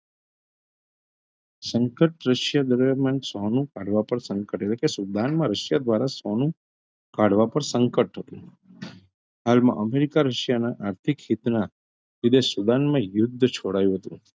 સંકટ કાળવા પર સંકટ એટલે કે સુદાનમાં રશિયા ધ્વારા સોનું કાળવા પર સંકટ હતું હાલમાં અમેરિકા રશિયાના આર્થિક હિતનાં રીતે સુદાનમાં યુદ્ધ છોડાયું હતું.